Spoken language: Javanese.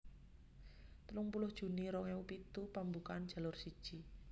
telung puluh juni rong ewu pitu pambukaan Jalur siji